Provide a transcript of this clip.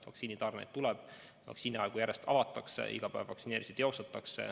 Vaktsiinitarneid tuleb, vaktsiiniaegu järjest avatakse, iga päev vaktsineerimist teostatakse.